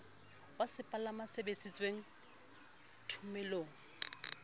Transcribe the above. wa sepalangwa se sebedisitweng thomelong